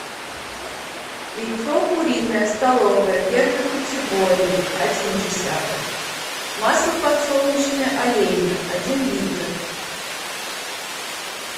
яйцо куриное столовое первой категории один десяток масло подсолнечное олейна один литр